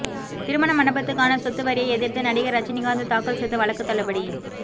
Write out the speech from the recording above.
திருமண மண்டபத்துக்கான சொத்து வரியை எதிா்த்து நடிகா் ரஜினிகாந்த் தாக்கல் செய்த வழக்கு தள்ளுபடி